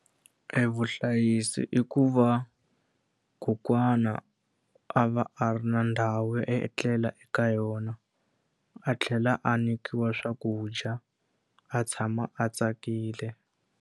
Evuhlayisi i ku va kokwana a va a ri na ndhawu yo etlela eka yona, a tlhela a nyikiwa swakudya, a tshama a tsakile.